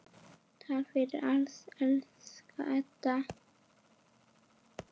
Takk fyrir allt, elsku Edda.